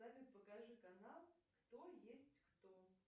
салют покажи канал кто есть кто